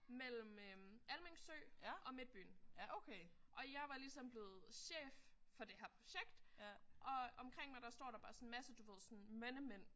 Men Almind Sø og midtbyen. Og jeg var ligesom blevet chef for det her projekt og omkring mig der står der bare sådan en masse du ved sådan mændemænd